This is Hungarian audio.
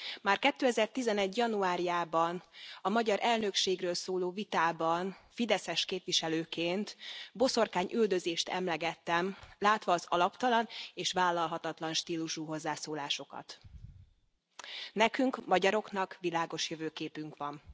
Már 2011 januárjában a magyar elnökségről szóló vitában fideszes képviselőként boszorkányüldözést emlegettem, látva az alaptalan és vállalhatatlan stílusú hozzászólásokat. Nekünk, magyaroknak, világos jövőképünk van.